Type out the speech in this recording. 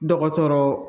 Dɔgɔtɔrɔ